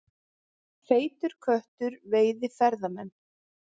Feitur köttur veiði ferðamenn